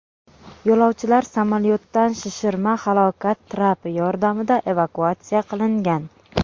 Yo‘lovchilar samolyotdan shishirma halokat trapi yordamida evakuatsiya qilingan.